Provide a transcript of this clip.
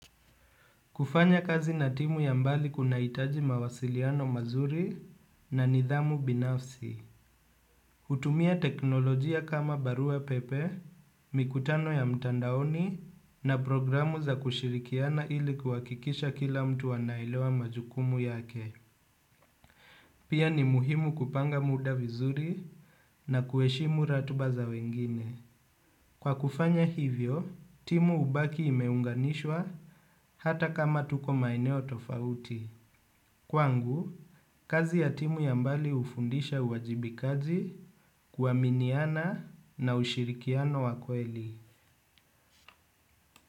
Kufanya kazi na timu ya mbali kuna hitaji mawasiliano mazuri na nidhamu binafsi. Kutumia teknolojia kama barua pepe, mikutano ya mtandaoni na programu za kushirikiana ili kuhakikisha kila mtu anaelewa majukumu yake. Pia ni muhimu kupanga muda vizuri na kuheshimu ratiba za wengine. Kwa kufanya hivyo, timu hubaki imeunganishwa hata kama tuko maeneo tofauti. Kwangu, kazi ya timu ya mbali hufundisha uwajibikaji kuaminiana na ushirikiano wa kweli.